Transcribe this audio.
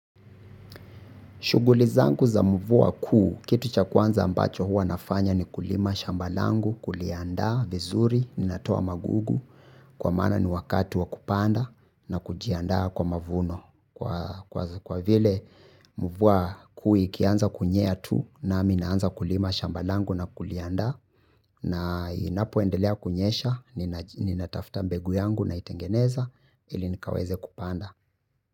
Shughuli zangu za mvua kuu, kitu cha kwanza ambacho hua nafanya ni kulima shamba langu, kuliaandaa vizuri, ninatoa magugu, kwa maana ni wakatu wa kupanda na kujiandaa kwa mavuno. Kwa vile mvua kuu ikianza kunyea tu nami naanza kulima shamba langu na kuliaandaa na inapoendelea kunyesha, ninatafta mbegu yangu naitengeneza ili nikaweze kupanda.